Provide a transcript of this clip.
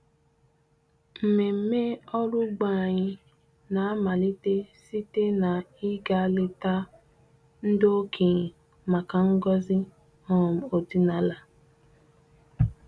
Mmemme ọrụ ugbo anyị na-amalite site na ịga leta ndị okenye maka ngọzi um ọdịnala.